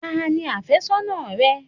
Ta ni afésónà rẹ?